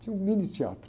Tinha um mini teatro.